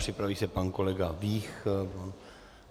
Připraví se pan kolega Vích.